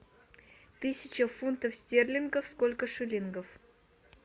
тысяча фунтов стерлингов сколько шиллингов